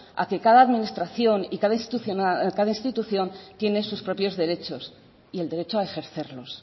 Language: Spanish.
a que cada administración y cada institución tiene sus propios derechos y el derecho a ejercerlos